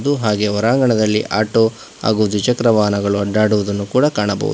ಹಾಗೆ ಹೊರಂಗಣದಲ್ಲಿ ಆಟೋ ಹಾಗು ದ್ವಿಚಕ್ರವಾಹನಗಳು ಅಡ್ಡಾಡುವುದನ್ನು ಕೂಡ ಕಾಣಬಹುದು.